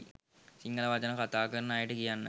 සිංහල වචන කතා කරන අයට කියන්න.